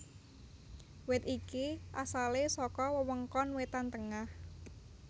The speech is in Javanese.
Wit iki asalé saka wewengkon wétan tengah